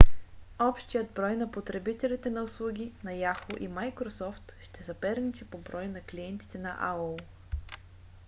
общият брой на потребителите на услуги на yahoo! и microsoft ще съперничи по брой на клиентите на aol